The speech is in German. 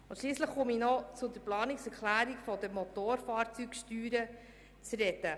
Nun zur Planungserklärung betreffend die Motorfahrzeugsteuer.